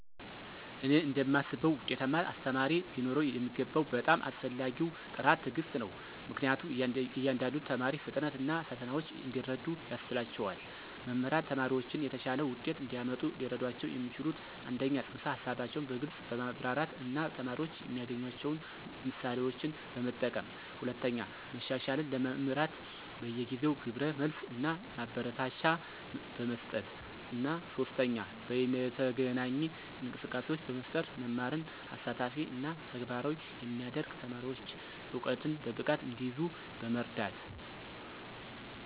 እኔ እንደማስበው ውጤታማ አስተማሪ ሊኖረው የሚገባው በጣም አስፈላጊው ጥራት ትዕግስት ነው, ምክንያቱም የእያንዳንዱን ተማሪ ፍጥነት እና ፈተናዎች እንዲረዱ ያስችላቸዋል. መምህራን ተማሪዎችን የተሻለ ውጤት እንዲያመጡ ሊረዷቸው የሚችሉት - 1) ፅንሰ-ሀሳቦችን በግልፅ በማብራራት እና ተማሪዎች የሚያገናኟቸውን ምሳሌዎችን በመጠቀም፣ 2) መሻሻልን ለመምራት በየጊዜው ግብረ መልስ እና ማበረታቻ በመስጠት፣ እና 3) በይነተገናኝ እንቅስቃሴዎችን በመፍጠር መማርን አሳታፊ እና ተግባራዊ የሚያደርግ፣ ተማሪዎች እውቀትን በብቃት እንዲይዙ በመርዳት።